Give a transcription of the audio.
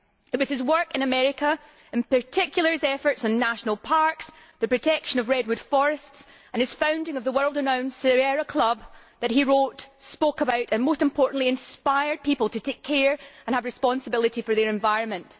It was through his work in America particularly his efforts in national parks, the protection of redwood forests and his founding of the world renowned Sierra Club, which he wrote and spoke about that most importantly he inspired people to take care of and have responsibility for their environment.